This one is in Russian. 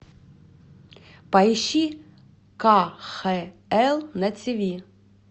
поищи кхл на тв